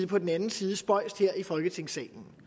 på den anden side spøjst her i folketingssalen